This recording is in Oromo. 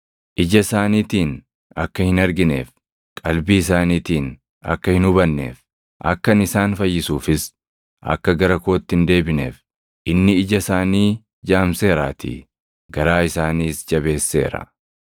“Ija isaaniitiin akka hin argineef, qalbii isaaniitiin akka hin hubanneef, akka ani isaan fayyisuufis akka gara kootti hin deebineef, inni ija isaanii jaamseeraatii; garaa isaaniis jabeesseera.” + 12:40 \+xt Isa 6:10\+xt*